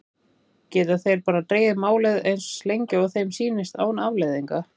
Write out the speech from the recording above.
Geta þeir bara dregið málið eins lengi og þeim sýnist án afleiðinga?